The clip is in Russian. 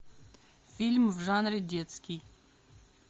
фильм в жанре детский